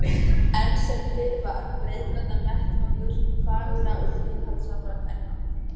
Enn sem fyrr var breiðgatan vettvangur fagurra og tilhaldssamra kvenna.